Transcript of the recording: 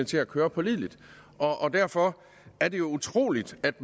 til at køre pålideligt og derfor er det jo utroligt at